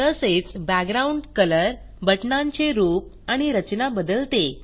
तसेच background colour बटणांचे रूप आणि रचना बदलते